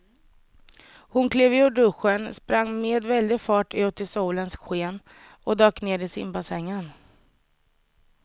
Hon klev ur duschen, sprang med väldig fart ut i solens sken och dök ner i simbassängen.